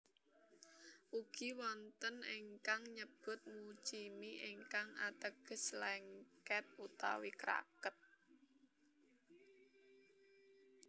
Ugi wonten ingkang nyebut muchimi ingkang ateges lèngkèt utawi kraket